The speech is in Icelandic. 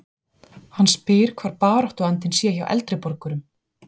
Hann spyr hvar baráttuandinn sé hjá eldri borgurum?